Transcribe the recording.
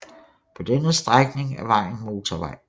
På denne strækning er vejen motorvej